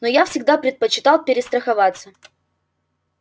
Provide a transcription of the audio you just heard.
но я всегда предпочитал перестраховаться